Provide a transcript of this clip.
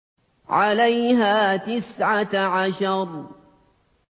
عَلَيْهَا تِسْعَةَ عَشَرَ